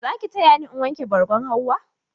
Za ki taya ni wanke bargon Hauwa?